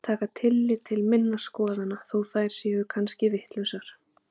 Taka tillit til minna skoðana þó að þær séu kannski vitlausar.